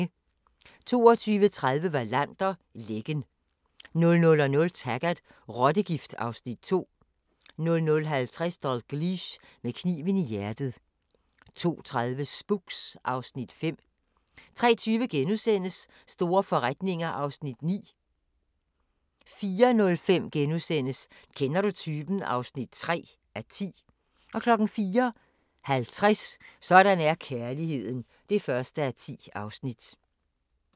22:30: Wallander: Lækken 00:00: Taggart: Rottegift (Afs. 2) 00:50: Dalgliesh: Med kniven i hjertet 02:30: Spooks (Afs. 5) 03:20: Store forretninger (9:10)* 04:05: Kender du typen? (3:10)* 04:50: Sådan er kærligheden (1:10)